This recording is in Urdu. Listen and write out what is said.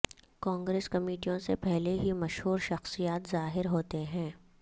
کانگریس کمیٹیوں سے پہلے ہی مشہور شخصیات ظاہر ہوتے ہیں